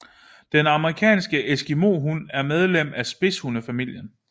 Den amerikanske eskimohund er medlem af spidshunde familien